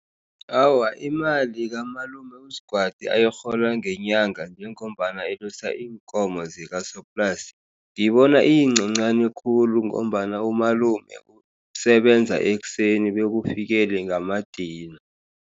Awa, imali kamalume uSgwadi ayirhola ngenyanga njengombana alusa iinkomo zikasoplasi, ngiyibona iyincancani khulu ngombana umalume usebenza ekuseni, bekufikele ngamadina.